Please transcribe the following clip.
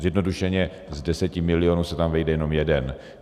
Zjednodušeně z deseti milionů se tam vejde jenom jeden.